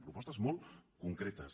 propostes molt concretes